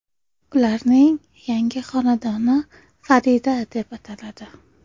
Ularning yangi xonadoni Farida deb ataladi.